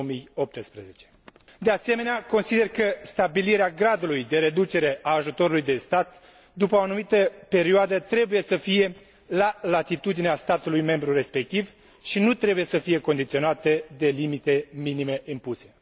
2018. De asemenea, consider că stabilirea gradului de reducere a ajutorului de stat, după o anumită perioadă, trebuie să fie la latitudinea statului membru respectiv și statele membre nu trebuie să fie condiționate de limite minime impuse.